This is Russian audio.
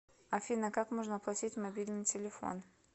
афина как можно оплатить мобильный телефон